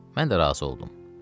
Mən də razı oldum.